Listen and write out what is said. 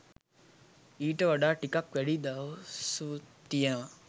ඊට වඩා ටිකක් වැඩි දවසුත් තියනවා